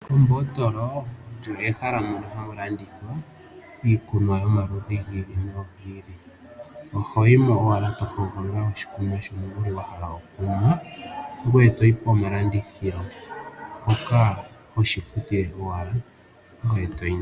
Ombotolo olyo ehala moka hamu landithwa iikunwa yomaludhi gi ili nogi ili. Oho yi mo owala to hogolola oshikunwa shoye shoka wa hala okunwa ngoye to yi pomalandithilo mpoka hoshi futile owala ngoye to yi.